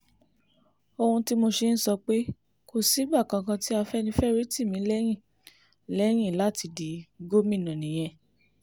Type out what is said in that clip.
ohun tí mo ṣe ń sọ pé kò sígbà kankan tí afẹ́nifẹ́re tì mí lẹ́yìn lẹ́yìn láti di gómìnà nìyẹn